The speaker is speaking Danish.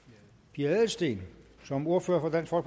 pia adelsteen som ordfører for